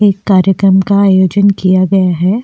एक कार्यक्रम का आयोजन किया गया है।